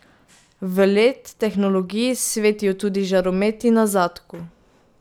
V led tehnologiji svetijo tudi žarometi na zadku.